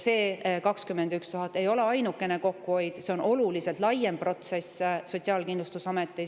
See 21 000 eurot ei ole ainukene kokkuhoid, vaid see on oluliselt laiem protsess Sotsiaalkindlustusametis.